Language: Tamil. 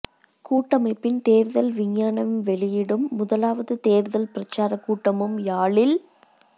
கூட்டமைப்பின் தேர்தல் விஞ்ஞாபன வெளியீடும் முதலாவது தேர்தல் பிரசாரக் கூட்டமும் யாழில்